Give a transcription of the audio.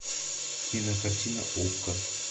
кинокартина окко